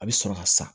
A bɛ sɔrɔ ka sa